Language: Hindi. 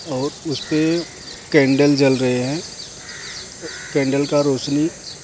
और उसपे कैंडल जल रहे हैं कैंडल का रोशनी --